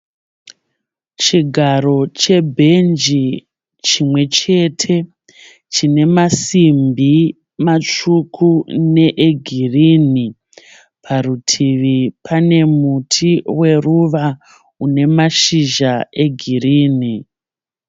Chigaro chebhenji chimwechete chine masimbi matsvuku ne egirini, parutivi pane muti weruva une mashizha egirini.